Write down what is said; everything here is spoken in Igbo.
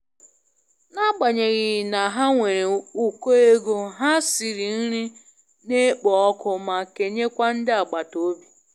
N'agbanyeghị na ha nwere ukọ ego, ha siri nri na-ekpo ọkụ ma kenye kwa ndị agbata obi.